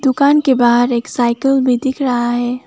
दुकान के बाहर एक साइकल भी दिख रहा है।